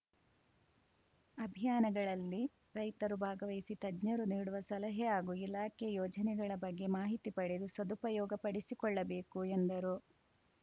ಅಭಿಯಾನಗಳಲ್ಲಿ ರೈತರು ಭಾಗವಹಿಸಿ ತಜ್ಞರು ನೀಡುವ ಸಲಹೆ ಹಾಗೂ ಇಲಾಖೆ ಯೋಜನೆಗಳ ಬಗ್ಗೆ ಮಾಹಿತಿ ಪಡೆದು ಸದುಪಯೋಗ ಪಡಿಸಿಕೊಳ್ಳಬೇಕು ಎಂದರು